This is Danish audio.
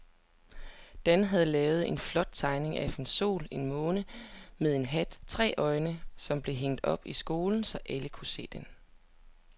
Dan havde lavet en flot tegning af en sol og en måne med hat og tre øjne, som blev hængt op i skolen, så alle kunne se den.